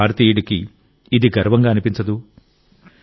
ఏ భారతీయుడికి ఇది గర్వంగా అనిపించదు